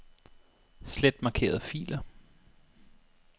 Slet markerede filer.